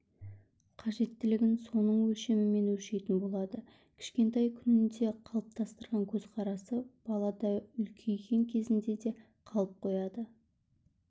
қажеттілігін соның өлшемімен өлшейтін болады кішкентай күнінде қалыптастырған көзқарасы балада үлкейген кезінде де қалып қояды